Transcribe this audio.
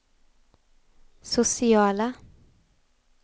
sociala